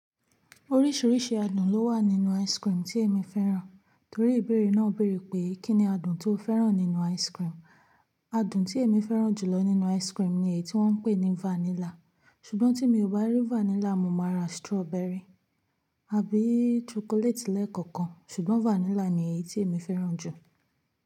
Oríṣiríṣi adùn ló wà nínú ice cream tí èmi fẹ́ràn. Torí ìbéèrè náà béèrè pé kí ni adùn tó fẹ́ràn nínú ice cream. Adùn tí èmi fẹ́ràn jù lọ nínú ice cream ni èyí tí wọ́n ń pè ní vanilla. Ṣùgbọ́n tí mi ò bá rí vanilla, mo máa ra strawberry àbí chocolate lẹ́ẹ̀kọ̀kan. Ṣùgbọ́n vanilla ni èyí tí èmi fẹ́ràn jù.